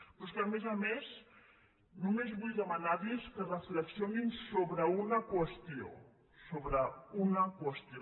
però és que a més a més només vull demanar·los que refle·xionin sobre una qüestió sobre una qüestió